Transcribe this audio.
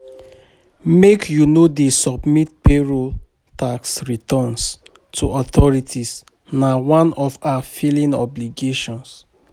Make you dey submit payroll tax returns to authorities na one of our filing obligation.